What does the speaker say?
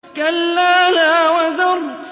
كَلَّا لَا وَزَرَ